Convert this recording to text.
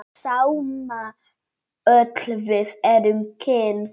Sama öll við erum kyn.